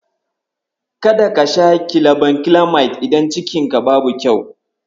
Kada ka sha gilabankilamayid idan cikinka babu komai.